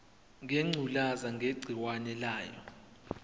ngengculazi negciwane layo